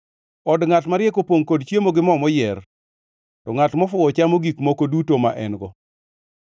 Od ngʼat mariek opongʼ kod chiemo gi moo moyier, to ngʼat mofuwo chamo gik moko duto ma en-go.